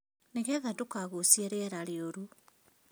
Nĩ getha ndukagucie rĩera rĩũrũ